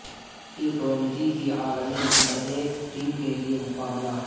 T twenty کی عالمی number ایک ٹیم کے لیے مقابلہ